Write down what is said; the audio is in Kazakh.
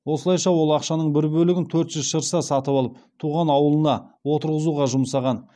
осылайша ол ақшаның бір бөлігін төрт жүз шырса сатып алып туған ауылына отырғызуға жұмсаған